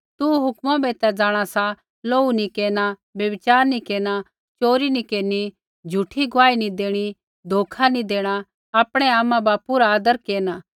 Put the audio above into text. तू हुक्मा बै ता जाँणा सा लोहू नी केरना व्यभिचार नी केरना च़ोरी नी केरनी झ़ूठी गुआही नी देणी धोखा नी देणा आपणै आमा बापू रा आदर केरना